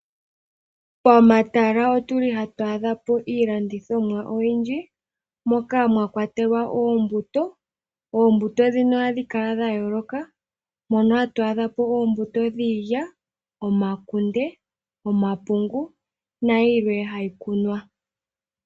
Pomatala otu li hatu adha po iilandithomwa oyindji, moka mwakwatelwa oombuto. Oombuto dhino ohadhi kala dha yooloka, mono hatu adha mo oombuto dhiilya, omakunde, omapungu nayilwe ha yi kunwa.